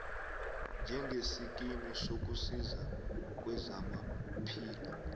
njengesikimu sokusiza kwezamaphilo